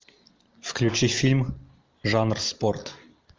включи фильм жанр спорт